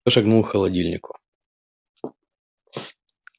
я шагнул к холодильнику